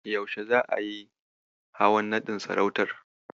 Yaushe za'a yi hawan naɗin sarautar?